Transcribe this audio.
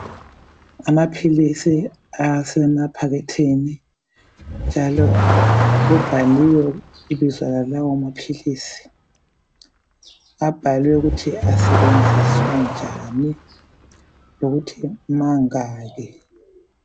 Amaphilizi asema pakethini njalo kubhaliwe ibizo lalawo maphilizi abhaliwe ukuthi asetshenziswa njani lokuthi mangaki